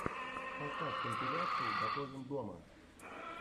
поставь компиляции готовим дома